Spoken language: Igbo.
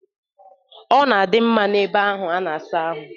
Ọ na-adị mma n'ebe a na-asa ahụ.